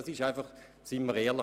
Seien wir ehrlich: